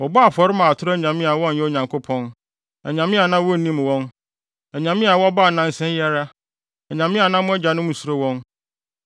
Wɔbɔɔ afɔre maa atoro anyame a wɔnyɛ Onyankopɔn, anyame a na wonnim wɔn, anyame a wɔbaa nnansa yi ara, anyame a na mo agyanom nsuro wɔn.